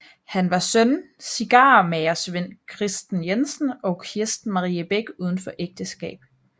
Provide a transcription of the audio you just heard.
Han var søn cigarmagersvend Christen Jensen og Kirsten Marie Bech uden for ægteskab